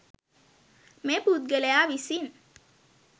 මේ පුද්ගලයා විසින්